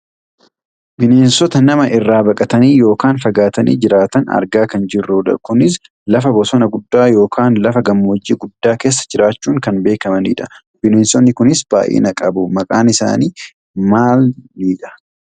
Bineensota nama irraa baqatanii yookaan fagaatanii jiraatan argaa kan jirrudha. Kunis lafa bosona guddaa yookaan lafa gammoojjii guddaa keessa jiraachuun kan beekkamanidha. Bineensonni kunis baayyina qabu. Maqaan bineensa kanaa maalidha?